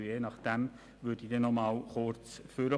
Je nachdem würde ich dann noch einmal kurz ans Mikrofon treten.